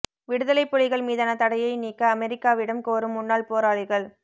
விடுதலைப் புலிகள் மீதான தடையை நீக்க அமெரிக்காவிடம் கோரும் முன்னாள் போராளிகள்